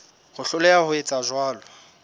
ho hloleha ho etsa jwalo